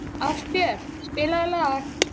Ástbjört, spilaðu lag.